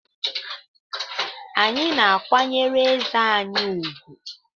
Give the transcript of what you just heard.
Anyị na-akwanyere eze anyị ùgwù